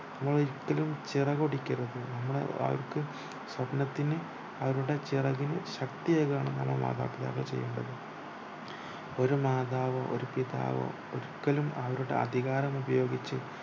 നമ്മൾ ഒരിക്കലും ചിറകൊടിക്കരുത് നമ്മുടെ വഴ്ക് സ്വപ്നത്തിനു അവരുടെ ചിറകിന് ശക്തി ഏകുകയാണ് നമ്മള് മാതാപിതാക്കള് ചെയ്യേണ്ടത് ഒരു മാതാവോ ഒരു പിതാവോ ഒരിക്കലും അവരുടെ അധികാരം ഉപയോഗിച്